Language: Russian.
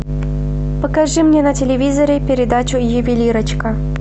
покажи мне на телевизоре передачу ювелирочка